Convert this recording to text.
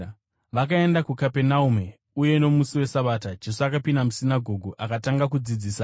Vakaenda kuKapenaume, uye nomusi weSabata, Jesu akapinda musinagoge akatanga kudzidzisa.